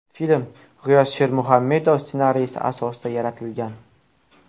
Film G‘iyos Shermuhammedov ssenariysi asosida yaratilgan.